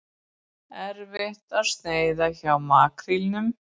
Erfitt að sneiða hjá makrílnum